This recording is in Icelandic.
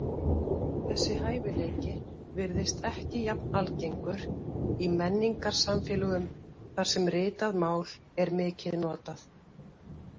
Þessi hæfileiki virðist ekki jafn algengur í menningarsamfélögum þar sem ritað mál er mikið notað.